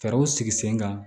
Fɛɛrɛw sigi sen kan